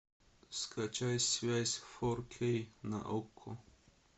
скачай связь фор кей на окко